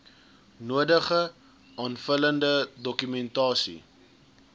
nodige aanvullende dokumentasie